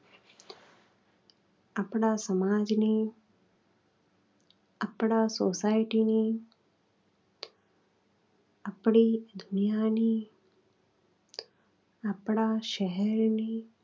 આપણા સમાજની, આપણા society ની, આપણી દુનિયાની, આપણા શહેરની